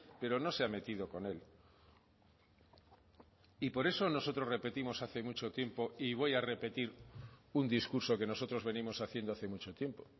pero no se ha metido con él y por eso nosotros repetimos hace mucho tiempo y voy a repetir un discurso que nosotros venimos haciendo hace mucho tiempo